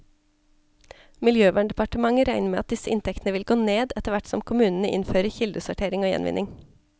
Miljøverndepartementet regner med at disse inntektene vil gå ned, etterhvert som kommunene innfører kildesortering og gjenvinning.